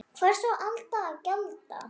Hvers á Alda að gjalda?